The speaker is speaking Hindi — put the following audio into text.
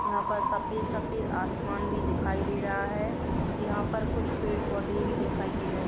यहाँ पर सफेद सफेद आसमान भी दिखाई दे रहा है। यहाँ पर कुछ पेड़ पौधे भी दिखाई दे रहे --